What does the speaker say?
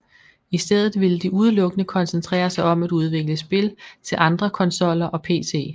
I stedet ville de udelukkende koncentrere sig om at udvikle spil til andre konsoller og pc